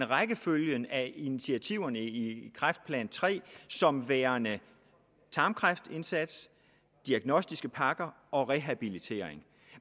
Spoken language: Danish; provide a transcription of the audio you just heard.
rækkefølgen af initiativerne i kræftplan iii som værende tarmkræftindsats diagnostiske pakker og rehabilitering